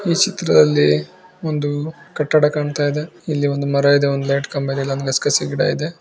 ಈ ಚಿತ್ರದಲ್ಲಿ ಒಂದು ಕಟ್ಟಡ ಕಾಣ್ತಾ ಇದೆ. ಇಲ್ಲಿ ಒಂದು ಮರ ಇದೆ ಒಂದು ಲೈಟ್ ಕಂಬ ಇದೆ ಹಾಗು ಗಸಗಸೆ ಗಿಡ ಇದೆ.